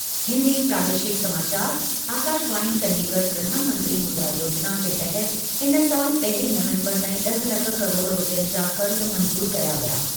हिंदी प्रादेशिक समाचार, आकाशवाणी चंडीगढ, प्रधानमंत्री मुद्रा योजिना जे तहत इन साल पहिरीं नवंबर ताईं ड॒ह लख किरोड़ रूपयनि जा क़र्ज़ मंज़ूरु कया विया।